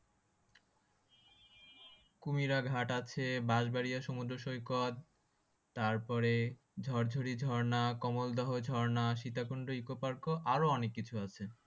কুমিরা ঘাট আছে বাঁশবাড়িয়া সুমদ্র সৈকত তারপরে ঝরঝরি ঝর্ণা কমল দহ ঝর্ণা সীতাকুন্ড ইকোপার্ক ও আরও অনেক কিছু আছে